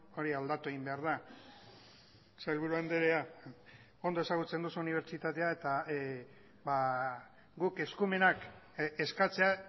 hori aldatu egin behar da sailburu andrea ondo ezagutzen duzu unibertsitatea eta guk eskumenak eskatzea